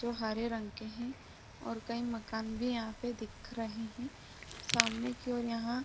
जो हरे रंग के है और कई मकान भी यहाँ पे दिख रहे है सामने की और यहाँ --